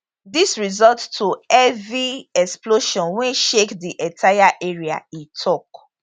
dis result to heavy explosion wey shake di entire area e tok